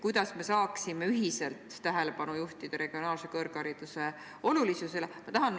Kuidas me saaksime ühiselt tähelepanu juhtida regionaalse kõrghariduse olulisusele?